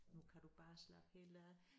Nu kan du bare slappe helt af